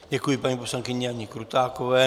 Děkuji paní poslankyni Janě Krutákové.